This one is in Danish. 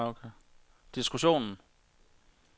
diskussionen